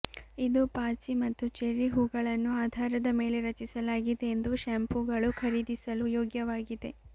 ಇದು ಪಾಚಿ ಮತ್ತು ಚೆರ್ರಿ ಹೂವುಗಳನ್ನು ಆಧಾರದ ಮೇಲೆ ರಚಿಸಲಾಗಿದೆ ಎಂದು ಶ್ಯಾಂಪೂಗಳು ಖರೀದಿಸಲು ಯೋಗ್ಯವಾಗಿದೆ